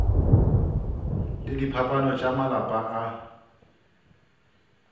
le diphapano tša malapa a